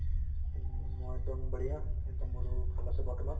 উম মই একদম বহৰিয়া একদম মোৰো ভাল আছে বৰ্তমান